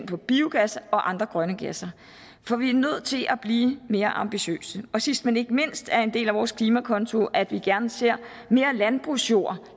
til biogas og andre grønne gasser for vi er nødt til at blive mere ambitiøse sidst men ikke mindst er en del af vores klimakonto at vi gerne ser mere landbrugsjord